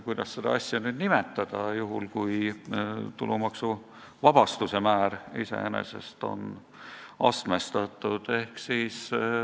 Kuidas seda asja nüüd nimetada, juhul kui tulumaksuvabastuse määr iseenesest on astmestatud?